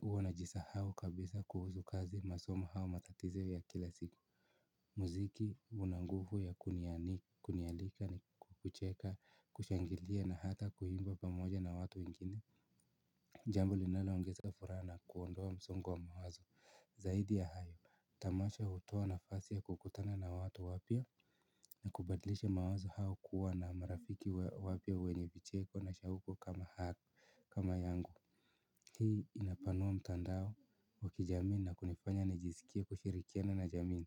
huwa najisahao kabisa kuhuzu kazi masomo hau matatizo ya kila siku muziki una nguvu ya kunialika ni kucheka, kushangilia na hata kuimba pamoja na watu wengine jambo linaloongeza furaha na kuondoa msongo wa mawazo zaidi ya hayo, tamasha hutoa nafasi ya kukutana na watu wapya na kubadlisha mawazo hao kuwa na marafiki wapya wenye vicheko na shahuko kama haku kama yangu hii inapanua mtandao wa kijamii na kunifanya nijisikie kushirikiana na jamii.